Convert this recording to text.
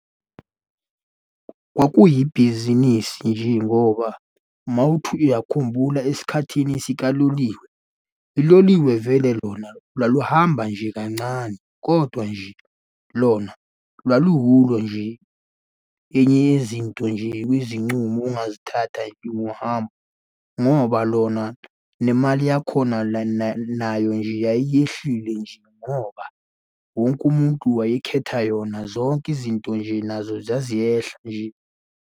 Kwakuyibhizinisi nje ngoba uma uthi uyakhumbula esikhathini sikaLoliwe, uloliwe vele lona laluhamba nje kancane, kodwa nje lona lwaluyulo nje. Enye yezinto nje kwizincumo ongazithatha nje ngohambo, ngoba lona nemali yakhona la nayo nje yayehlile nje ngoba wonke umuntu wayekhetha yona, zonke izinto nje nazo zaziyehla nje.